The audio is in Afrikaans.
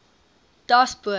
daspoort